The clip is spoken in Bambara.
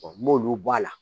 n m'olu bɔ a la